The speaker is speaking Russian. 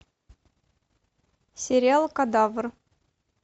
сериал кадавр